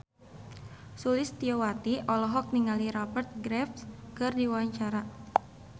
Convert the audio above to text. Sulistyowati olohok ningali Rupert Graves keur diwawancara